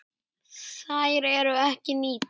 Þær eru bara ekki nýttar.